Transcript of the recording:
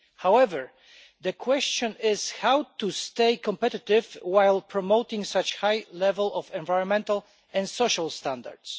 However, the question is how to stay competitive whilst promoting such a high level of environmental and social standards.